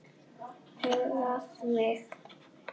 Huggaði mig.